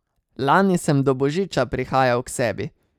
Lani sem do božiča prihajal k sebi.